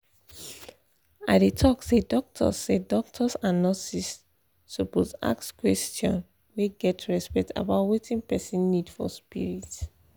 i dey talk say doctors say doctors and nurses suppose ask question wey get respect about wetin person need for spirit.